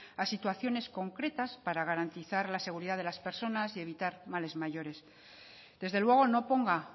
a situaciones concretas para garantizar la seguridad de las personas y evitar males mayores desde luego no ponga